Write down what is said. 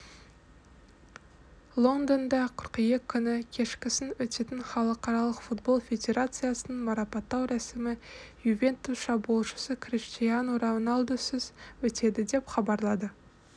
лондонда қыркүйек күні кешкісін өтетін халықаралық футбол федерациясының марапаттау рәсімі ювентус шабуылшысы криштиану роналдусізөтеді деп хабарлайды